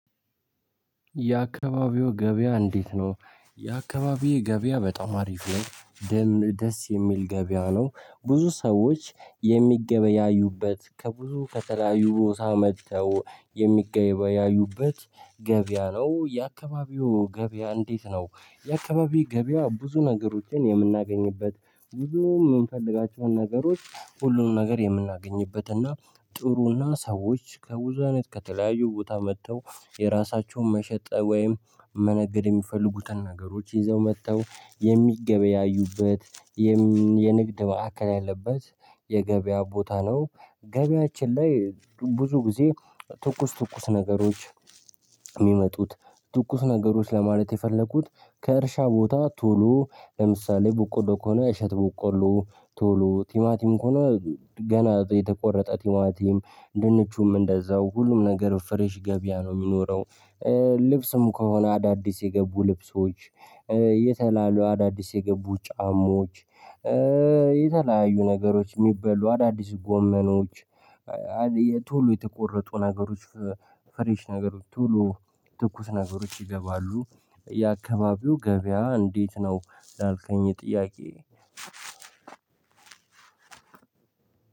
የአካባቢው ገበያ እንዴት ነው? የአካባቢው ገበያ በጣም አሪፍ ላይ ደም ደስ የሚል ገበያ ነው። ብዙ ሰዎች የሚገበያዩበት ከብዙ ከተለያዩ ቦታ መጥተው የሚገበያዩበት ገበያ ነው የአካባቢው ገበያ እንዴት ነው? የአካባቢው ገበያ ብዙ ነገሮችን የምናገኝበት ብዙ የምንፈልጋቸውን ነገሮች ሁሉንም ነገር የምናገኝበትና ጥሩና ሰዎች ከብዙ አይነት ከተለያዩ ቦታ መጥተው የራሳቸውን መሸጥ ወይም መነገድ የሚፈልጉትን ነገሮች ይዘው መጥተው የሚገበያዩበት ማዕከል ያለበት የገበያ ቦታ ነው። ገበያችን ላይ ብዙ ጊዜ ትኩስ ትኩስ ነገሮች የሚመጡት ትኩስ ነገሮች ለማለት የፈለኩት ከእርሻ ቦታ ቶሎ ለምሳሌ በቆሎ ከሆነ እሸት ቡቆሎ ቶሎ ቲማቲም ከሆነ ገና የተቆረጠ ቲማቲም ድንቹም እንደዛው ሁሉም ነገር ፍሬሽ ገቢያ ነው የሚኖረው። ልብስም ከሆነ አዳዲስ የገቡ ልብሶች የተላያዩ አዳዲስ የገቡ ጫማዎች የተለያዩ ነገሮች የሚበሉ አዳዲስ ጎመኖች ቶሎ የተቆረጡ ነገሮች ፍሬሽ ነገሮች ቶሎ ትኩስ ነገሮች ይገባሉ። የአካባቢው ገበያ እንዴት ነው? እንዳልከኝ ጥያቄ